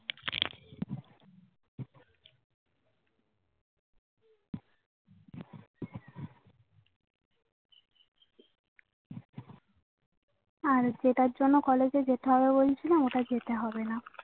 আর যেটার জন্যে College এ যেতে হবে সেটা বলছিলে ওটা যেতে হবেনা